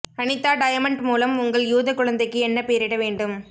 Anitha diamond மூலம் உங்கள் யூத குழந்தைக்கு என்ன பெயரிட வேண்டும்